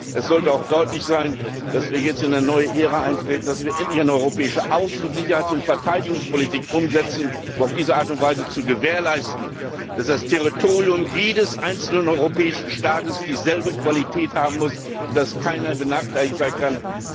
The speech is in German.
Es sollte auch deutlich sein, dass wir jetzt eine neue Ära eintreten, dass wir endlich eine europäische Außen Sicherheits und Verteidigungspolitik umsetzen, um auf diese Art und Weise zu gewährleisten, dass das Territorium jedes einzelnen europäischen Staates dieselbe Qualität haben muss und dass keiner benachteiligt sein kann.